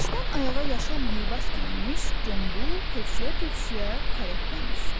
Başdan ayağa yaşıl libas geyinmiş, qombal, tövşüyə-tövşüyə karetdən düşdü.